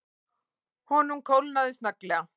Honum kólnaði snögglega.